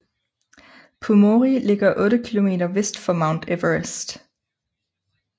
Pumori ligger otte kilometer vest for Mount Everest